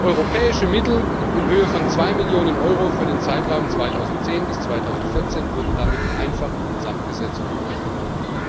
Europäische Mittel in Höhe von 2Millionen Euro für den Zeitraum von 2010 bis 2014 wurden damit einfach in den Sand gesetzt und verschwendet.